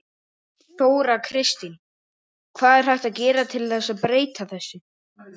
Þóra Kristín: Hvað er hægt að gera til að breyta þessu?